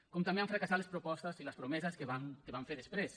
com també han fracassat les propostes i les promeses que van fer després